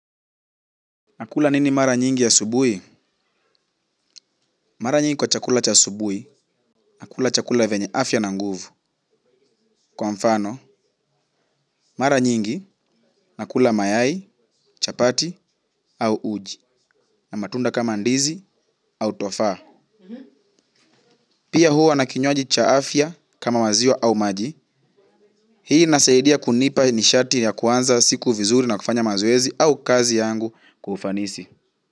Nakula nini mara nyingi ya asubuhi? Mara nyingi kwa chakula cha asubuhi, nakula chakula yenye afya na nguvu. Kwa mfano, mara nyingi nakula mayai, chapati au uji. Na matunda kama ndizi au tofa. Pia huwa na kinywaji cha afya kama maziwa au maji. Hii inasaidia kunipa nishati ya kuanza siku vizuri na kufanya mazoezi au kazi yangu kwa ufanisi.